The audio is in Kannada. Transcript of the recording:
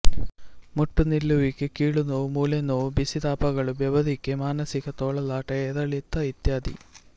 ಮುಟ್ಟು ನಿಲ್ಲುವಿಕೆ ಕೀಲುನೋವು ಮೂಳೆನೋವು ಬಿಸಿತಾಪಗಳು ಬೆವರುವಿಕೆ ಮಾನಸಿಕ ತೊಳಲಾಟ ಏರಿಳಿತ ಇತ್ಯಾದಿ